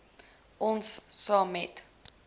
om saam met